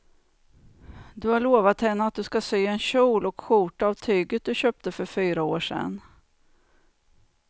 Du har lovat henne att du ska sy en kjol och skjorta av tyget du köpte för fyra år sedan.